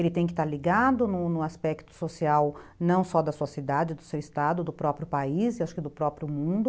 Ele tem que estar ligado no no aspecto social não só da sua cidade, do seu estado, do próprio país e acho que do próprio mundo.